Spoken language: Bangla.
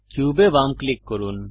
কিউবে বাম ক্লিক করুন